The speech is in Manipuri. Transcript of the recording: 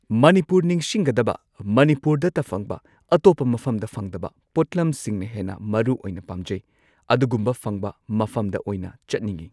ꯃꯅꯤꯄꯨꯔ ꯅꯤꯡꯁꯤꯡꯒꯗꯕ ꯃꯅꯤꯄꯨꯔꯗꯇ ꯐꯪꯕ ꯑꯇꯣꯞꯄ ꯃꯐꯝꯗ ꯐꯪꯗꯕ ꯄꯣꯠꯂꯝꯁꯤꯡꯅ ꯍꯦꯟꯅ ꯃꯔꯨꯑꯣꯏꯅ ꯄꯥꯝꯖꯩ ꯑꯗꯨꯒꯨꯝꯕ ꯐꯪꯕ ꯃꯐꯝꯗ ꯑꯣꯏꯅ ꯆꯠꯅꯤꯡꯉꯤ꯫